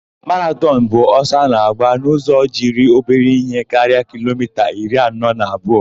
Maratọn bụ ọsọ a na-agba n'ụzọ jiri obere ihe karịa kilomita iri anọ na abụọ.